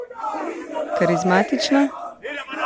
Karizmatična?